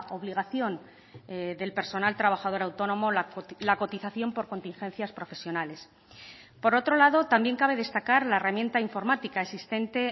obligación del personal trabajador autónomo la cotización por contingencias profesionales por otro lado también cabe destacar la herramienta informática existente